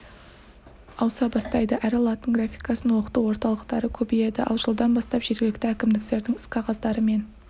ауыса бастайды әрі латын графикасын оқыту орталықтары көбейеді ал жылдан бастап жергілікті әкімдіктердің іс-қағаздары мен